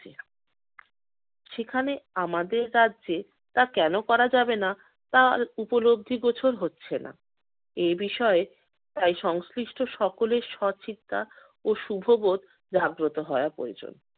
সেখানে আমাদের রাজ্যে তা কেন করা যাবে না তা আর উপলব্ধিগোচর হচ্ছে না। এই বিষয়ে তাই সংশ্লিষ্ট সকলের সৎচিন্তা ও শুভবোধ জাগ্রত হওয়া প্রয়োজন।